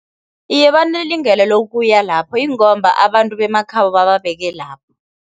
Iye, banelungelo lokuya lapho ingomba abantu bemakhabo bababeke lapho.